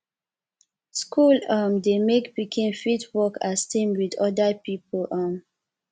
school um dey make pikin fit work as team with oda pipo um